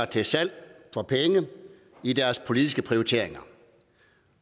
til salg for penge i deres politiske prioriteringer